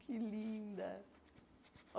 Que linda!